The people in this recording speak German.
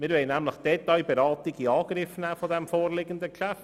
Wir wollen die Detailberatung des Geschäfts in Angriff nehmen.